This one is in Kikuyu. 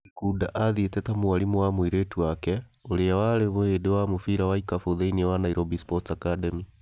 Gikunda athiĩte ta mwarimũ wa mũirĩtu wake, ũrĩa warĩ mũhĩndĩ wa mũbira wa ikabu thĩinĩ wa Nairobi Sports Academy.